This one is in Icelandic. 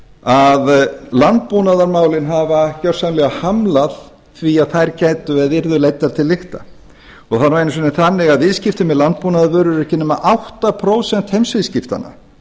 að landbúnaðarmálin hafa gjörsamlega hamlað því að þær yrðu leiddar til lykta það er nú einu sinni þannig að viðskipti með landbúnaðarvörur eru ekki nema átta prósent heimsviðskiptanna